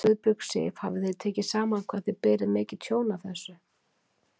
Guðbjörg Sif: Hafið þið tekið saman hvað þið berið mikið tjón af þessu?